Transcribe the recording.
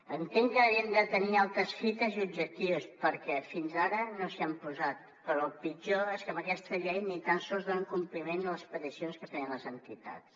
entenc que devien tenir altres fites i objectius perquè fins ara no s’hi han posat però el pitjor és que amb aquesta llei ni tan sols donen compliment a les peticions que feien les entitats